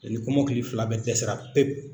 ni kɔmɔkili fila bɛɛ dɛsɛra pepu.